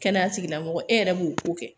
Kɛnɛya tigilamɔgɔ e yɛrɛ b'o ko kɛ